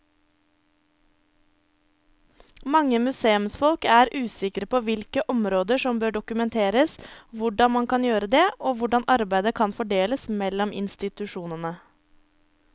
Mange museumsfolk er usikre på hvilke områder som bør dokumenteres, hvordan man kan gjøre det og hvordan arbeidet kan fordeles mellom institusjonene.